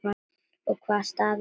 Og hvaða staður er það?